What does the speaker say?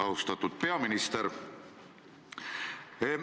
Austatud peaminister!